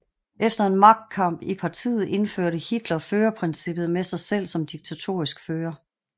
Efter en magtkamp i partiet indførte Hitler førerprincippet med sig selv som diktatorisk fører